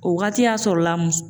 O wagati y'a sɔrɔla muso